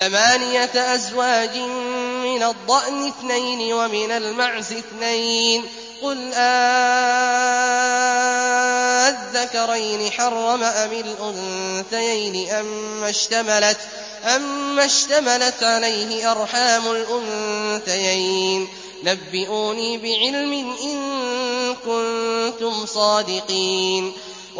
ثَمَانِيَةَ أَزْوَاجٍ ۖ مِّنَ الضَّأْنِ اثْنَيْنِ وَمِنَ الْمَعْزِ اثْنَيْنِ ۗ قُلْ آلذَّكَرَيْنِ حَرَّمَ أَمِ الْأُنثَيَيْنِ أَمَّا اشْتَمَلَتْ عَلَيْهِ أَرْحَامُ الْأُنثَيَيْنِ ۖ نَبِّئُونِي بِعِلْمٍ إِن كُنتُمْ صَادِقِينَ